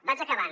vaig acabant